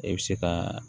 E bɛ se ka